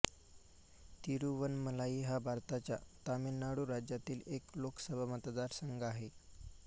तिरुवनमलाई हा भारताच्या तमिळनाडू राज्यातील एक लोकसभा मतदारसंघ आहे